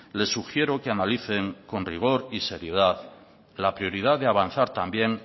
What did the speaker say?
le sugiero que analicen con rigor y seriedad la prioridad de avanzar también